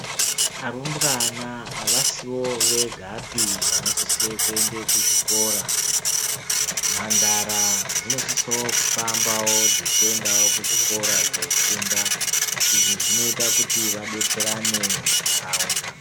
Arumbwana avasiwo vegapi vanosise kuende kuzvikora , mhandara dzinosisawo kufambawo dzichiendawo kuzvikora kofunda izvi zvinoita kuti vadetserane munharaunda